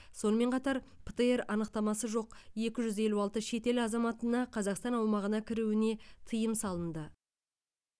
сонымен қатар птр анықтамасы жоқ екі жүз елу алты шетел азаматына қазақстан аумағына кіруіне тыйым салынды